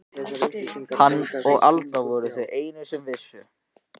Hann og Alda voru þau einu sem vissu.